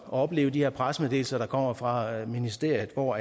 opleve de her pressemeddelelser der kommer fra ministeriet hvor